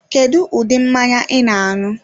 Kedu ụdị mmanya I na-anu?